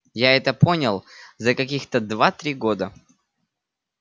я это понял за каких-то два-три года